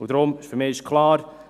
Deshalb ist für mich klar: